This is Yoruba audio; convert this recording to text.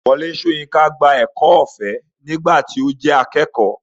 Wọlé Soyinka gba ẹ̀kọ́ ọ̀fẹ́ nígbà tí ó jẹ́ akẹ́kọ̀ọ́.